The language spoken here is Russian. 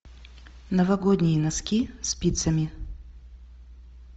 новогодние носки спицами